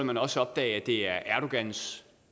man også opdage at det er erdogans